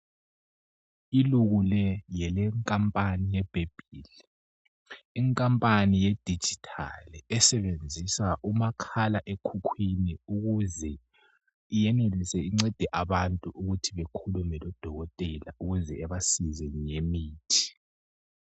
Iluku le Ngele kampani ye babyl ikampani yedigital esebenzisa uma khala ekhukwini ukuze yenelise incede abantu ukuthi bekhuluma lodokotela ukuze ebasize ngemithi